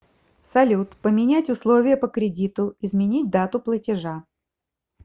салют поменять условия по кредиту изменить дату платежа